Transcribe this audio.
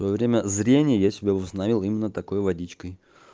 во время зрения я себе установил именно такой водичкой